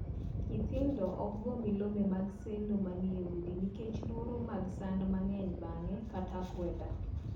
Nyithindo ok goo milome mag sendo manie udi nikech luoro mag sand mang’eny bang’e kata akweda.